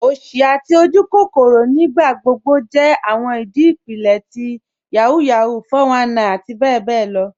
Osì àti ojúkòkòrò nígbàgbọ̀gbọ̀ jẹ́ awọn ìdí ipílẹ̀ ti Yahoo Yahoo, 419 àti bẹ̀bẹ̀ lọ.